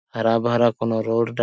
हरा - भरा कोनो रोड --